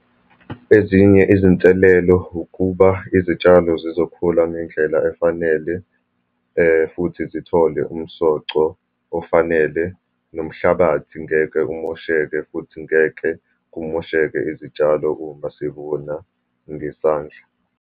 Ezinye izinselelo ukuba izitshalo zizokhula ngendlela efanele, futhi zithole umsoco ofanele, nomhlabathi ngeke umosheka, futhi ngeke kumosheka izitshalo uma sivuna ngesandla.